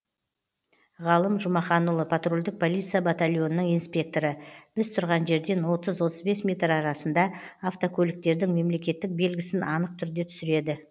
ғалым жұмаханұлы патрульдік полиция батальонының инспекторы біз тұрған жерден отыз отыз бес метр арасында автокөліктердің мемлекеттік белгісін анық түрде түсіреді